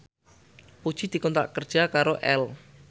Puji dikontrak kerja karo Elle